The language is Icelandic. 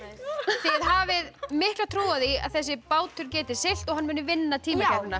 þið hafið mikla trú á því að þessi bátur geti siglt og hann muni vinna